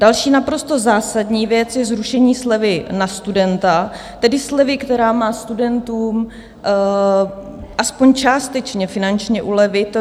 Další naprosto zásadní věc je zrušení slevy na studenta, tedy slevy, která má studentům aspoň částečně finančně ulevit.